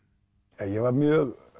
ég var mjög